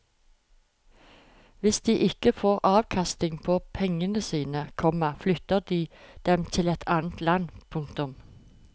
Hvis de ikke får avkastning på pengene sine, komma flytter de dem til et annet land. punktum